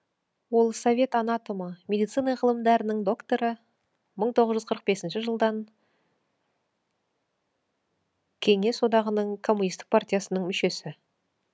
ол совет анатомы медицина ғылымдарының докторы мың тоғыз жүз қырық бесінші жылдан кеңес одағының коммунистік партиясының мүшесі